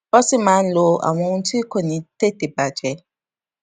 wón sì máa ń lo àwọn ohun tí kò ní tete bajẹ